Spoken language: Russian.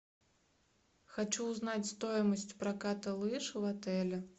хочу узнать стоимость проката лыж в отеле